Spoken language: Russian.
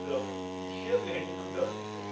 прям исчезли они куда-то